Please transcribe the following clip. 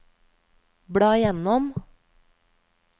bla gjennom